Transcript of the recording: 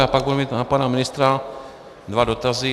Já pak budu mít na pana ministra dva dotazy.